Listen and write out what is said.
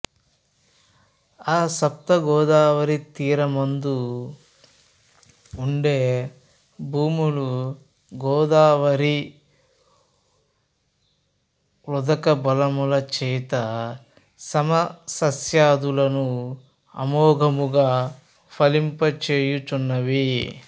ఆ సప్తగోదావరీ తీరమందు వుండే భూములు గోదావరీ వుదకబలముచేత సమసస్యా ధులను అమోఘముగా ఫలింపచేయుచున్నవి